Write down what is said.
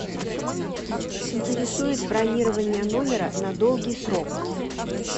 интересует бронирование номера на долгий срок